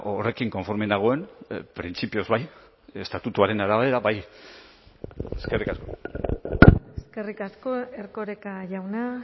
horrekin konforme nagoen printzipioz bai estatutuaren arabera bai eskerrik asko eskerrik asko erkoreka jauna